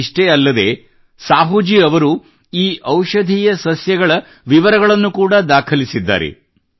ಇದಿಷೆ್ಟೀ ಅಲ್ಲದೆ ಸಾಹೂಜೀ ಅವರು ಈ ಔಷಧೀಯ ಸಸ್ಯಗಳ ವಿವರಗಳನ್ನು ಕೂಡ ದಾಖಲಿಸಿದ್ದಾರೆ